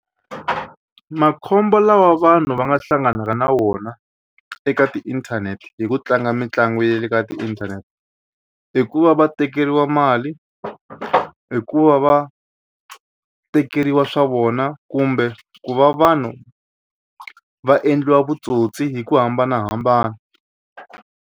Makhombo lawa vanhu va nga hlanganaka na wona eka tiinthanete hi ku tlanga mitlangu ya le ka tiinthanete hi ku va va tekeriwa mali ku va va tekeriwa swa vona kumbe ku va vanhu va endliwa vutsotsi hi ku hambanahambana.